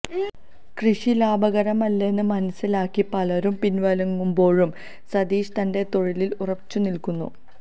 കൃഷി ലാഭകരമല്ലെന്ന് മനസിലാക്കി പലരും പിന്വാങ്ങുമ്പോഴും സതീഷ് തന്റെ തൊഴിലില് ഉറച്ചുനില്ക്കുന്നു